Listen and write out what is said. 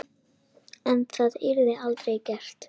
En það yrði aldrei gert.